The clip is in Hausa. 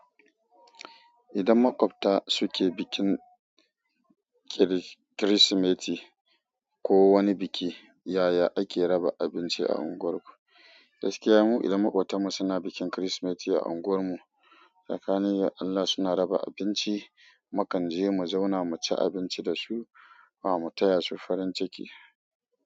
Idan maƙwabta suke bikin kir-kirsimeti ko wani biki, yaya ake raba abinci a unguwar ku? Gaskiya mu idan maƙotanmu suna bikin kirsimeti a unguwarmu, sakanin Allah suna raba abinci, mukan jiya mu zauna mu ci abinci da su, mu taya su farin ciki.